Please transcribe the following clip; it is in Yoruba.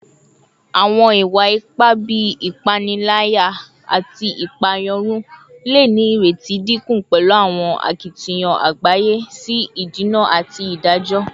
Awọn iwa-ipa bii ipanilaya ati ipaeyarun le ni ireti dinku pẹlu awọn akitiyan agbaye si idena ati idajọ